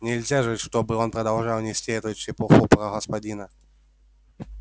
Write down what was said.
нельзя же чтобы он продолжал нести эту чепуху про господина